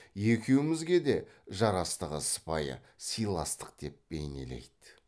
екеумізге де жарастығы сыпайы сыйластық деп бейнелейді